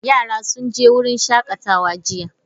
Yara sun je wurin shakatawa jiya.